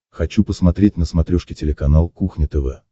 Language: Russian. хочу посмотреть на смотрешке телеканал кухня тв